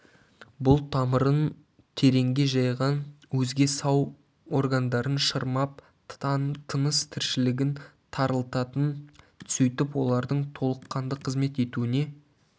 бұл тамырын тереңге жайған өзге сау органдарын шырмап тыныс-тіршілігін тарылтатын сөйтіп олардың толыққанды қызмет етуіне